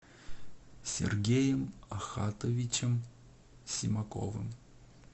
сергеем ахатовичем симаковым